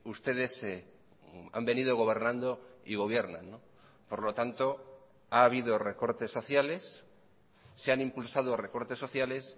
ustedes han venido gobernando y gobiernan por lo tanto ha habido recortes sociales se han impulsado recortes sociales